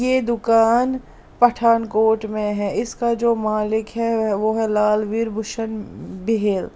ये दुकान पठानकोट में है इसका जो मालिक है वो है लालवीर भूषण बिहेल।